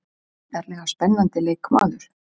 Gríðarlega spennandi leikmaður.